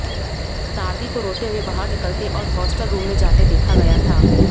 ताडवी को रोते हुए बाहर निकलते और हॉस्टल रूम में जाते देखा गया था